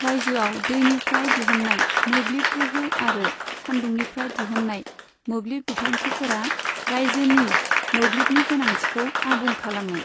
राज्योआव दैनिफ्राय दिहुननाय मोब्लिब गोहो आरो सान्दुंनिफ्राय दिहुननाय मोब्लिब बिथांखिफोरा राज्योनि मोब्लिबनि गोनांथिखौ आबुं खालामो।